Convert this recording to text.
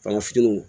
Bagan fitininw